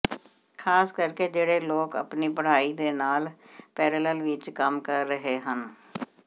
ਖ਼ਾਸ ਕਰਕੇ ਜਿਹੜੇ ਲੋਕ ਆਪਣੀ ਪੜ੍ਹਾਈ ਦੇ ਨਾਲ ਪੈਰਲਲ ਵਿੱਚ ਕੰਮ ਕਰ ਰਹੇ ਹਨ